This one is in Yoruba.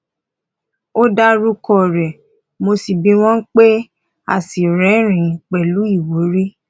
ó dá orúkọ rẹ mọ bí wọn bá pè é a sì rẹrìnín pẹlú ìwúrí